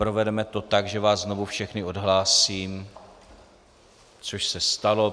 Provedeme to tak, že vás znovu všechny odhlásím, což se stalo.